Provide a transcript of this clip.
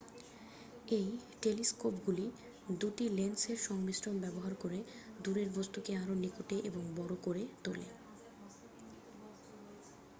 এই টেলিস্কোপগুলি দুটি লেন্সের সংমিশ্রণ ব্যবহার করে দুরের বস্তুকে আরও নিকটে এবং বড় করে তোলে